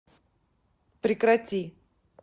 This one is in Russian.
прекрати